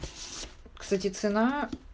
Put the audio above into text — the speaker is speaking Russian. кстати цена